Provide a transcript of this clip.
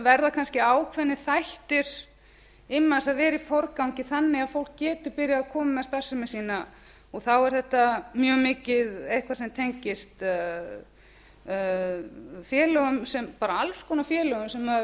verða kannski ákveðnir þættir immans að vera í forgangi þannig að fólk geti byrjað að koma með starfsemi sína og þá er þetta mjög mikið eitt af því sem tengist félögum alls konar félögum maður